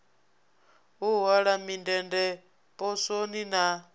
u hola mindende poswoni na